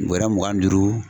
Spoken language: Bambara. Bɔrɛ mugan ni duuru.